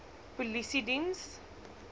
polisiediens